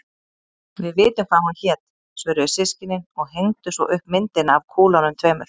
Við vitum hvað hún hét, svöruðu systkinin og hengdu svo upp myndina af kúlunum tveimur.